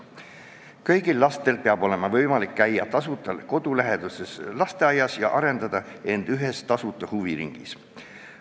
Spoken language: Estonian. Kõigil lastel peab olema võimalik käia tasuta kodulähedases lasteaias ja arendada end ühes tasuta huviringis.